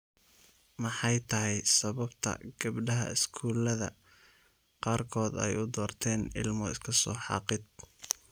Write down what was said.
Maxay tahay sababta gabdhaha iskuullada qaarkood ay u doorteen ilmo iska soo xaaqid.